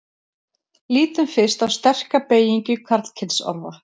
lítum fyrst á sterka beygingu karlkynsorða